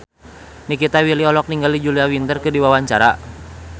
Nikita Willy olohok ningali Julia Winter keur diwawancara